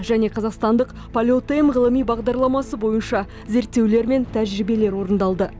және қазақстандық полет м ғылыми бағдарламасы бойынша зерттеулер мен тәжірибелер орындалды